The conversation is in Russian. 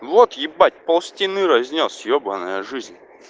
вот ебать пол стены разнёс ебанная жизнь